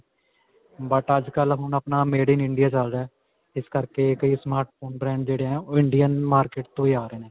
but ਅੱਜਕੱਲ੍ਹ ਹੁਣ ਅਪਣਾ made in India ਚੱਲ ਰਿਹਾ ਹੈ. ਇਸ ਕਰਕੇ ਕਈ smart phone branded ਹੈ. ਓਹ Indian ਮਾਰਕੇਟ ਤੋਂ ਹੀ ਆ ਰਹੇ ਨੇ.